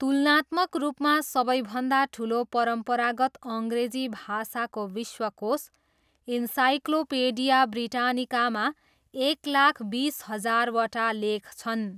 तुलनात्मक रूपमा, सबैभन्दा ठुलो परम्परागत अङ्ग्रेजी भाषाको विश्वकोश, इन्साइक्लोपेडिया ब्रिटानिकामा एक लाख बिस हजारवटा लेख छन्।